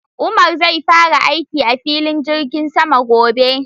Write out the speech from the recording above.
Umar zai fara aiki a filin jirgin sama gobe